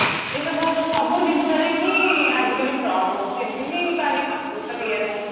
ଏସବୁ ସବୁ ଜିନିଷ ରେ ହିଁ ଆଜିକାଲି ford ହଉଛି ଏମତି କି ନାଇଁ ଖାଲି computer ଇଏ ରେ ହଉଛି